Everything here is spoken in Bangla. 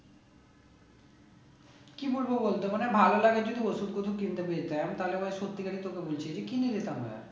কি বলবো বল তো মানে ভালো লাগার জন্য ওষুধ পত্র কিনতে আমি তাহলে সত্যিকারের তোকে বুঝিয়ে দিয়ে কিনে নিতাম ভায়া